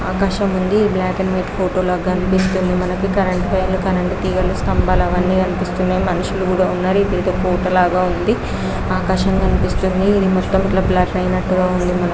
ఆకాశంఉంది మనకి black and white photo లాగా కనిపిస్తిఉంది ఇక్కడ కరెంట్ వైర్లు కరెంట్ తీగలు స్తంబాలు అవని కానిస్తున్నాయి మనుషులు ఉన్నారు ఆకాశం కనిపిస్తుంది --